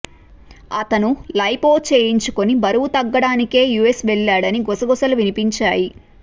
అతను లైపో చేయించుకుని బరువు తగ్గడానికే యుఎస్ వెళ్లాడని గుసగుసలు వినిపించాయి